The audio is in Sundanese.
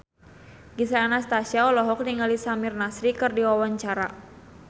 Gisel Anastasia olohok ningali Samir Nasri keur diwawancara